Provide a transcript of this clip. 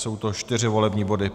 Jsou to čtyři volební body.